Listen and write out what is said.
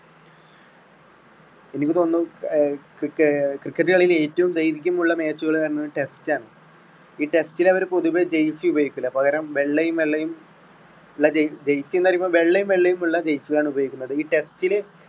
എനിക്ക് തോന്നുന്നു ക്രി~ cricket കളിയിൽ ഏറ്റവും ദൈർഘ്യമുള്ള match കള് test ആണ്. ഈ test ല് അവർ പൊതുവെ jersey ഉപയോഗിക്കില്ല പകരം വെള്ളയും വെള്ളയും. jersey ന്ന് പറയുമ്പോൾ വെള്ളയും വെള്ളയും ഉള്ള jersey ആണ് ഉപയോഗിക്കുന്നത്. ഈ test ഇല്